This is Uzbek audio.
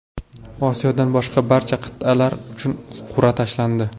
Osiyodan boshqa barcha qit’alar uchun qur’a tashlandi.